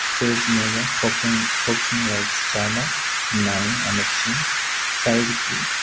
Stage మీద focusing focusing lights చాలా ఉన్నాయి అమర్చి సైడ్కి .